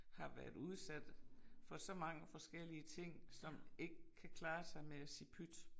Har været udsat for så mange forskellige ting som ikke kan klare sig med at sige pyt